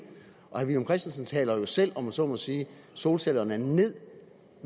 herre villum christensen taler jo selv om jeg så må sige solcellerne ned